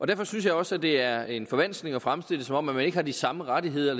derfor synes jeg også at det er en forvanskning at fremstille det som om man ikke har de samme rettigheder